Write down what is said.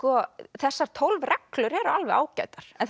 þessar tólf reglur eru alveg ágætar en